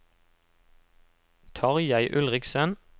Tarjei Ulriksen